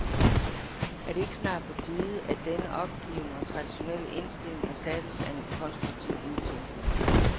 Er det ikke snart på tide, at denne opgivende og traditionelle indstilling erstattes af konstruktiv nytænkning.